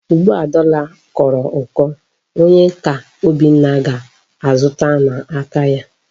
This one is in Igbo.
Ugbu a dọla kọrọ ụkọ, onye ka Obinna ga-azụta n'aka ya?